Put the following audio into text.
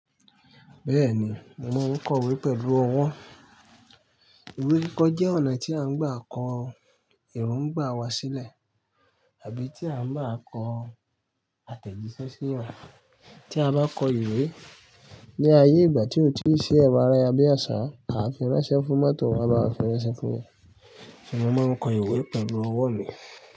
Bẹ́ẹ̀ni, mo máa ń kọ ìwé pẹ̀lú ọwọ́. Ìwé kíkọ jẹ́ ọ̀nà tí à ń gbà kọ erongbà wá sílẹ̀ àbí tí à ń gbá kọ àtẹ̀jíṣẹ́ sí yan tí a bá kọ ìwé ní ayé ìgbà tí ò tíì ṣi ẹ̀ro ayarabiaṣá, a fi ránṣẹ́ fún mọ́tò, won a bá wa fi ránṣẹ́ fún won. Mo máa ń kọ ìwé pẹ̀lú ọwọ́ mi.